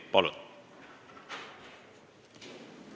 Palun!